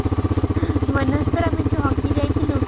ମନେ ଅଛି ତୋର ଆମେ ଯୋଉ hockey ଯାଇଥିଲୁ |